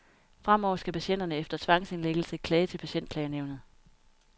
Fremover skal patienterne efter tvangsindlæggelse klage til patientklagenævnet.